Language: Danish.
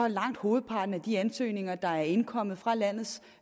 langt hovedparten af de ansøgninger der er indkommet fra landets